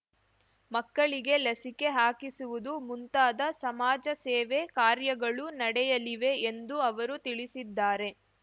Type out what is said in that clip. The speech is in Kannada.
ಮಕ್ಕಳಿಗೆ ಲಸಿಕೆ ಹಾಕಿಸುವುದು ಮುಂತಾದ ಸಮಾಜಸೇವೆ ಕಾರ್ಯಗಳು ನಡೆಯಲಿವೆ ಎಂದು ಅವರು ತಿಳಿಸಿದ್ದಾರೆ